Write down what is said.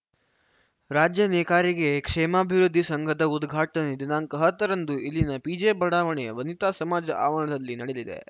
ರಾಜ್ಯ ನೇಕಾರಿಕೆ ಕ್ಷೇಮಾಭಿವೃದ್ಧಿ ಸಂಘದ ಉದ್ಘಾಟನೆ ದಿನಾಂಕ ಹತ್ತರಂದು ಇಲ್ಲಿನ ಪಿಜೆ ಬಡಾವಣೆಯ ವನಿತಾ ಸಮಾಜ ಆವರಣದಲ್ಲಿ ನಡೆಯಲಿದೆ